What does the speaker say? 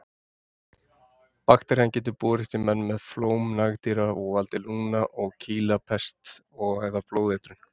Bakterían getur borist í menn með flóm nagdýra og valdið lungna- og kýlapest eða blóðeitrun.